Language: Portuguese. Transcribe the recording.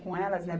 Com elas, né?